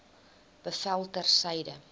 bevel ter syde